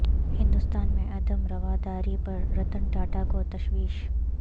ہندوستان میں عدم رواداری پر رتن ٹاٹا کو تشویش